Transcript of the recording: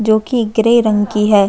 जोकि ग्रे रंग की हैं।